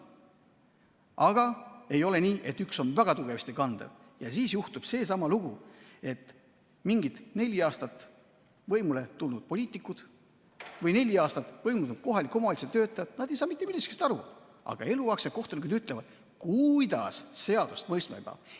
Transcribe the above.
Aga ei ole nii, et üks on väga tugevasti kandev ja siis juhtub seesama lugu, et mingid neli aastat võimul olnud poliitikud või neli aastat võimul olnud kohaliku omavalitsuse töötajad ei saa mitte millestki aru, aga eluaegsed kohtunikud ütlevad, kuidas seadust mõistma peab.